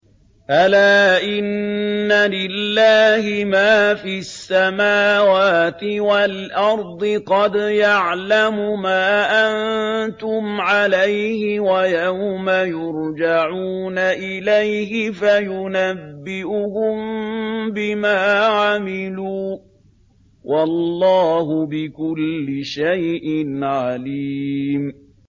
أَلَا إِنَّ لِلَّهِ مَا فِي السَّمَاوَاتِ وَالْأَرْضِ ۖ قَدْ يَعْلَمُ مَا أَنتُمْ عَلَيْهِ وَيَوْمَ يُرْجَعُونَ إِلَيْهِ فَيُنَبِّئُهُم بِمَا عَمِلُوا ۗ وَاللَّهُ بِكُلِّ شَيْءٍ عَلِيمٌ